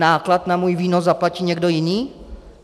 Náklad na můj výnos zaplatí někdo jiný?